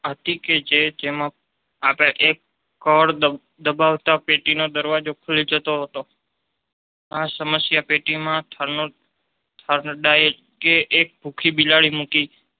હતી કે જે જેમાં આપડે એક કળ દબાવતા પેટીનો દરવાજો ખુલી જતો હતો. આ સમસ્યા પેટીમાં થોર્નડાઈકે એક ભૂખી બિલાડી મૂકી